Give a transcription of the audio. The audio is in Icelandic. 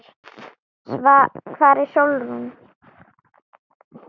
Hvar er Sólrún?